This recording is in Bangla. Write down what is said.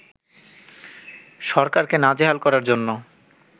সরকারকে নাজেহাল করার জন্য